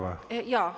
Palun, kolm minutit.